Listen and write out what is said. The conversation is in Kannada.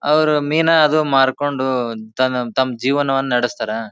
ಅವರು ಮೀನ ಅದು ಮಾರ್ಕೊಂಡು ತಮ್ ತಮ್ಮ ಜೀವನವನ್ನ ನಡಸ್ತಾರ.